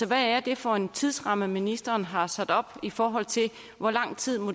hvad er det for en tidsramme ministeren har sat op i forhold til hvor lang tid